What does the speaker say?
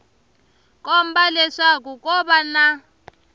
komba leswaku ko va na